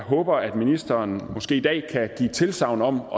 håber at ministeren måske i dag kan give tilsagn om